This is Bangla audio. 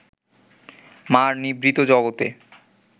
মা’র নিভৃত জগতে